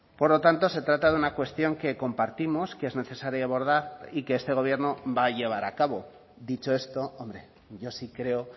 por lo tanto se trata de una cuestión que compartimos que es necesaria abordar y que este gobierno va a llevar a cabo dicho esto hombre yo sí creo